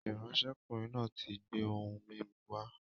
ìránṣẹ́kùnrin náà ti gbé ohun mímu wá